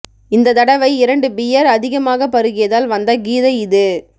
இந்த தடவை இரண்டு பியர் அதிகமாக பருகியதால் வந்த கீதை இது